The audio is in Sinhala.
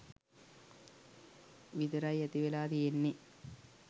විතරයි ඇති වෙලා තියෙන්නේ.